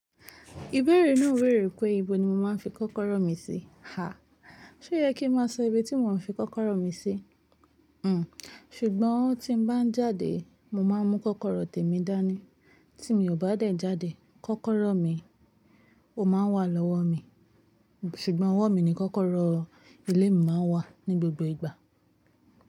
Ìbéèrè náà bèèrè pé, ibo ni mo máa ń fi kọ́kọ́rọ́ mi sí? Ṣé ó yẹ kí ń máa sọ ibi tí mò ń fi kọ́kọ́rọ́ mi sí? Ṣùgbọ́n tí n bá ń jáde, mo máa ń mú kọ́kọ́rọ́ tèmi dání. Tí mi ò bá dẹ̀ jáde, kọ́kọ́rọ́ mi ó máa ń wà lọ́wọ́ mi. Ṣùgbọ́n ọwọ́ mi ni kọ́kọ́rọ́ ilé mi máa ń wà ní gbogbo ìgbà.